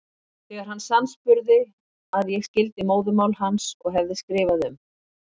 Þegar hann sannspurði að ég skildi móðurmál hans og hefði skrifað um